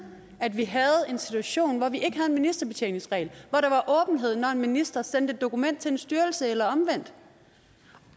vi havde en situation hvor vi ikke havde en ministerbetjeningsregel og når en minister sendte et dokument til en styrelse eller omvendt